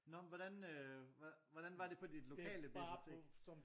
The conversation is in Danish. Nå men hvordan øh hvordan var det på dit lokale bibliotek?